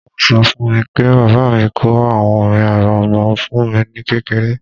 Wọ́n ṣọ fún mi pé bàbá mi kọ àwọn orin arẹmọ fún mi ní kékeré